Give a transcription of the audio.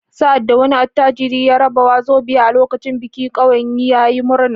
Sa’ad da wani attajiri ya rarraba “wàzobà” a lokacin biki, ƙauyen ya yi murna.